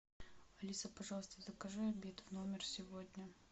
алиса пожалуйста закажи обед в номер сегодня